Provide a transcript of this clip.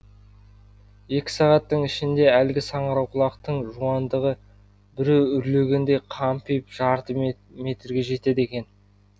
екі сағаттың ішінде әлгі саңырауқұлақтың жуандығы біреу үрлегендей қампиып жарты метрге жетеді екен